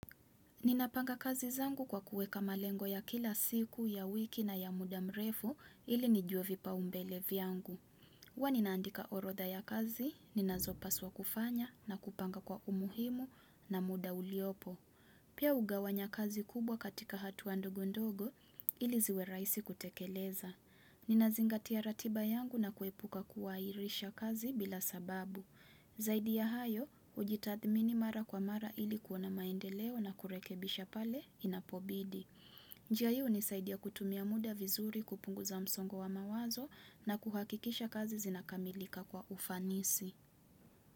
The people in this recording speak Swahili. Ninapanga kazi zangu kwa kuweka malengo ya kila siku, ya wiki na ya muda mrefu ili nijue vipaumbele vyangu. Huwa ninaandika orodha ya kazi, ninazopaswa kufanya na kupanga kwa umuhimu na muda uliopo. Pia ugawanya kazi kubwa katika hatua ndogo ndogo ili ziwe rahisi kutekeleza. Ninazingatia ratiba yangu na kuepuka kuairisha kazi bila sababu. Zaidi ya hayo, hujitathmini mara kwa mara ili kuona maende leo na kurekebisha pale inapobidi. Njia hii hunisaidia kutumia muda vizuri kupunguza msongo wa mawazo na kuhakikisha kazi zinakamilika kwa ufanisi.